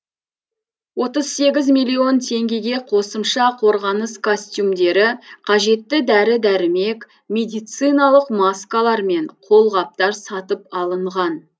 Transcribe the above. отыз сегіз миллион теңгеге қосымша қорғаныс костюмдері қажетті дәрі дәрмек медициналық маскалар мен қолғаптар сатып алынған